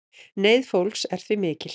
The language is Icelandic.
Neyð fólks er því mikil.